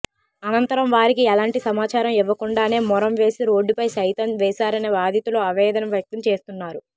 అనంతరం వారికి ఎలాంటి సమాచారం ఇవ్వకుండానే మొరం వేసి రోడ్డు సైతం వేశారని బాధితులు ఆవేదన వ్యక్తం చేస్తున్నారు